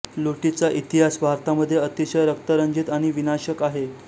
लुटीचा इतिहास भारतामध्ये अतिशय रक्तरंजित आणि विनाशक आहे